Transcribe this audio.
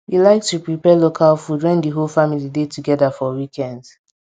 we like to prepare local food when di whole family dey togeda for weekends